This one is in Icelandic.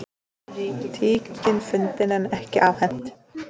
Tíkin fundin en ekki afhent